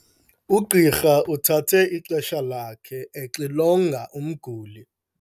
Ugqirha uthathe ixesha lakhe exilonga umguli.